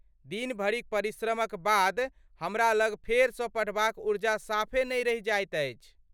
दिन भरिक परिश्रमक बाद हमरा लग फेरसँ पढ़बाक ऊर्जा साफे नहि रहि जाइत अछि।